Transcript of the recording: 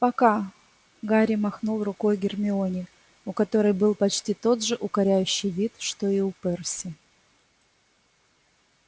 пока гарри махнул рукой гермионе у которой был почти тот же укоряющий вид что и у перси